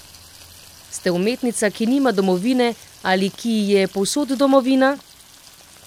Ste umetnica, ki nima domovine ali ki ji je povsod domovina?